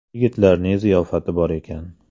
Yigitlarning ziyofati bor ekan.